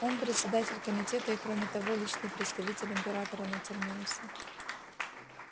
он председатель комитета и кроме того личный представитель императора на терминусе